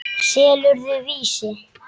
Selurðu Vísi?